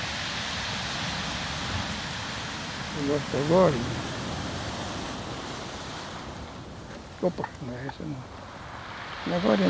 É essa aqui, ó. Te mostro agorinha.